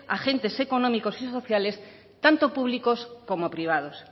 agentes económicos y sociales tanto públicos como privados